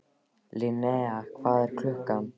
Linnea, hvað er klukkan?